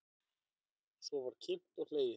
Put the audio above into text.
Svo var kímt og hlegið.